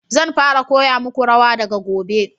Zan fara koya muku rawa daga gobe